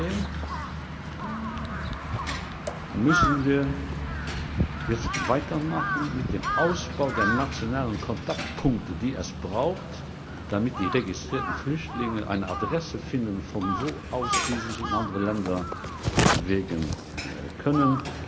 Trotzdem müssen wir jetzt weitermachen mit dem Ausbau der nationalen Kontaktpunkte, die notwendig sind, damit die registrierten Flüchtlinge eine Adresse finden, von wo aus sie sich in andere Länder bewegen können.